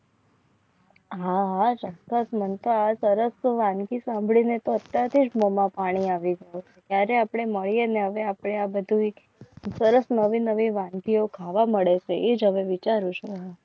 હા ચોક્કસ પાણી આવે ત્યારે આપણે મળીએ ને હવે આપણે આ બધું સરસ નવી નવી વાનગીઓ ખાવા મળે તો એ તમે વિચારો છો.